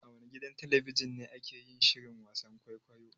A wane gidan talabijin ne ake yin shirin wasan kwaikwayo?